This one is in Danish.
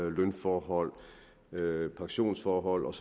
lønforhold pensionsforhold